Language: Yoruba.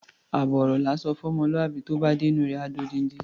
Àbọ̀ ọ̀rọ̀ la ńsọ fún ọmọlúwàbí, tó bá dé inú u rẹ̀, á di odindi.